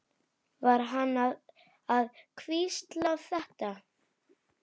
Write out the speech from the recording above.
Var hann að hvísla þetta?